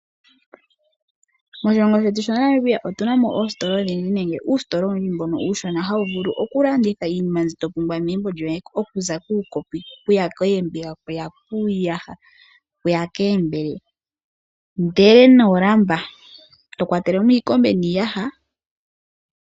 Moshilongo shetu shaNamibia otu na mo oositola odhindji nenge uusitola uushona mbono hawu vulu okulanditha iinima mbyoka to pumbwa megumbo lyoye. Okuza kuukopi, oombiga, uuyaha, iimbele, oolamba, iikombe niiyaha.